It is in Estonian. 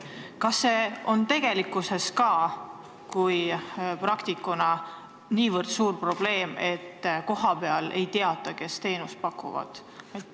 Ütle praktikuna, kas see on tegelikkuses ka nii suur probleem, et kohapeal ei teata, kes teenust pakuvad.